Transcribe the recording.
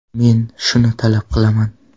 Men shuni talab qilaman.